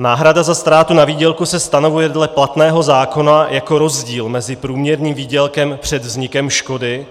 Náhrada za ztrátu na výdělku se stanovuje dle platného zákona jako rozdíl mezi průměrným výdělkem před vznikem škody